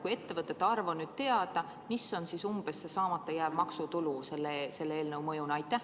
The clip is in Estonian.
Kui ettevõtete arv on teada, siis milline on umbes see saamata jääv maksutulu selle eelnõu mõjuna?